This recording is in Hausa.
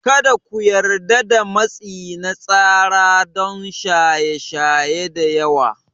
Kada ku yarda da matsi na tsara don shaye shaye da yawa.